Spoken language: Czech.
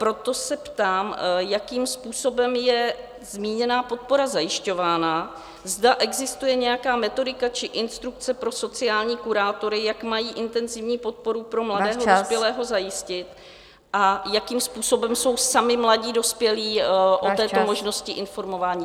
Proto se ptám, jakým způsobem je zmíněná podpora zajišťována, zda existuje nějaká metodika či instrukce pro sociální kurátory, jak mají intenzivní podporu pro mladého dospělého zajistit a jakým způsobem jsou sami mladí dospělí o této možnosti informováni.